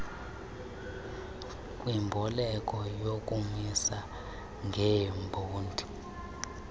kwimboleko yokumisa ngebhondi